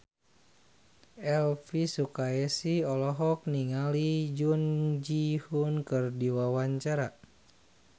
Elvy Sukaesih olohok ningali Jun Ji Hyun keur diwawancara